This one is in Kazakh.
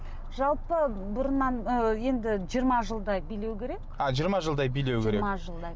жалпы бұрыннан ы енді жиырма жылдай билеу керек а жиырма жылдай билеу керек жиырма жылдай